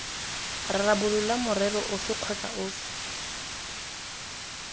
rarabolola morero ofe kgotsa ofe